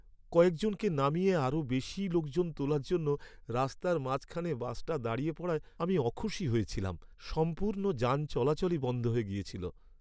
কয়েকজনকে নামিয়ে আরও বেশি লোকজন তোলার জন্য রাস্তার মাঝখানে বাসটা দাঁড়িয়ে পড়ায় আমি অখুশি হয়েছিলাম। সম্পূর্ণ যান চলাচলই বন্ধ হয়ে গেছিল।